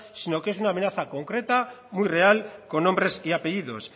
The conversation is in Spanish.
sino que es una amenaza concreta muy real con nombres y apellidos